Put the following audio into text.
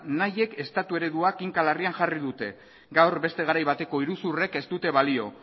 nahiek estatu eredua kinka larrian jarri dute gaur beste garai bateko iruzurrek ez dute balio